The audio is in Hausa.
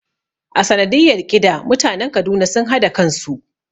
A sanadiyar ƙida mutanen Kaduna sun hada kansu